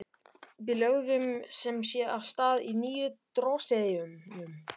Við lögðum sem sé af stað á nýju drossíunni.